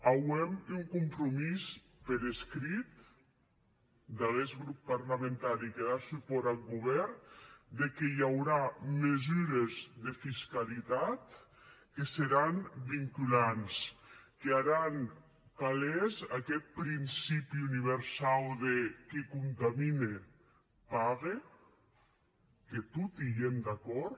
auem un compromís per escrit d’aguest grop parlamentari que da supòrt ath govèrn que i aurà mesures de fiscalitat que seràn vinculants que haràn evident aguest principi universau de qui contamine pague que toti i èm d’acòrd